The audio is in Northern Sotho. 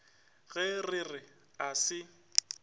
ge re re a se